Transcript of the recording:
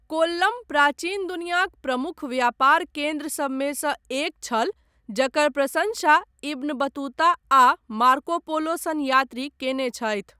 कोल्लम प्राचीन दुनियाक प्रमुख व्यापार केन्द्र सभमे सँ एक छल, जकर प्रशंसा इब्न बतुता आ मार्को पोलो सन यात्री कयने छथि।